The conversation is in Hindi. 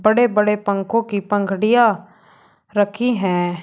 बड़े बड़े पंखों की पंखड़ियां रखी है।